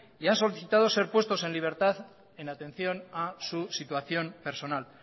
y han solicitado ser puestos en libertad en atención su situación personal